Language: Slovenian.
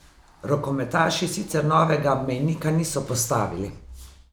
Rokometaši sicer novega mejnika niso postavili.